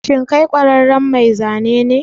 Shin kai ƙwararren mai zane ne?